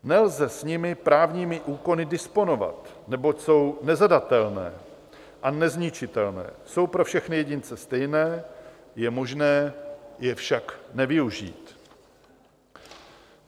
Nelze s nimi právními úkony disponovat, neboť jsou nezadatelné a nezničitelné, jsou pro všechny jedince stejné, je možné je však nevyužít.